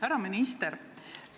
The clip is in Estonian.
Härra minister!